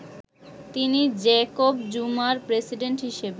তিনি জ্যাকব জুমার প্রেসিডেন্ট হিসেবে